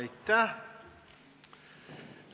Aitäh!